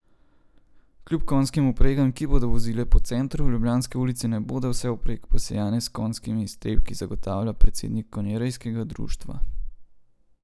Kljub konjskim vpregam, ki bodo vozile po centru, ljubljanske ulice ne bodo vsevprek posejane s konjskimi iztrebki, zagotavlja predsednik konjerejskega društva.